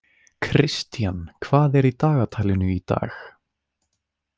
Kristian, hvað er í dagatalinu í dag?